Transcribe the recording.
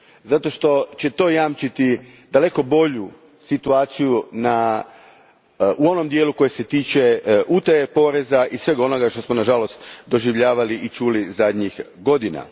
zato što će to jamčiti daleko bolju situaciju u dijelu koji se tiče utaje poreza i svega onoga što smo, nažalost, doživljavali i čuli zadnjih godina.